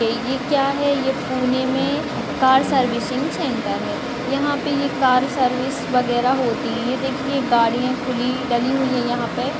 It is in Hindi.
ये क्या है ये पुने मे कार सर्विसिंग सेंटर है यहा पे ये कार सर्विस वगैरा होती है ये देखिए गाड़िया खुली डली हुई है यहा पे --